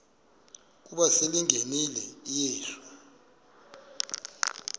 ukuba selengenile uyesu